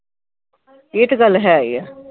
ਇਹ ਤੇ ਗੱਲ ਹੈ ਈ ਆ।